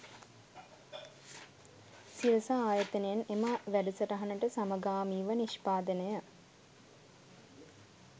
සිරස ආයතනයෙන් එම වැඩසටහනට සමගාමීව නිෂ්පාදනය